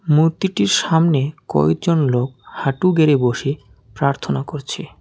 মূর্তিটির সামনে কয়েকজন লোক হাঁটু গেড়ে বসে প্রার্থনা করছে।